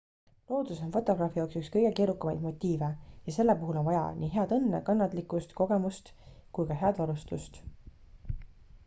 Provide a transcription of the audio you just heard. loodus on fotograafi jaoks üks kõige keerukamaid motiive ja selle puhul on vaja nii head õnne kannatlikkust kogemust kui ka head varustust